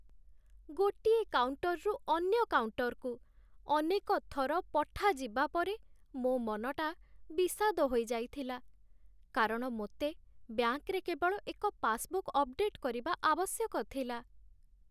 ଗୋଟିଏ କାଉଣ୍ଟର୍‌ରୁ ଅନ୍ୟ କାଉଣ୍ଟର୍‌କୁ ଅନେକ ଥର ପଠାଯିବା ପରେ ମୋ ମନଟା ବିଷାଦ ହୋଇଯାଇଥିଲା, କାରଣ ମୋତେ ବ୍ୟାଙ୍କରେ କେବଳ ଏକ ପାସବୁକ୍ ଅପଡେଟ୍ କରିବା ଆବଶ୍ୟକ ଥିଲା।